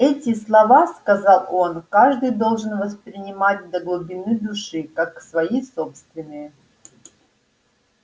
эти слова сказал он каждый должен воспринять до глубины души как свои собственные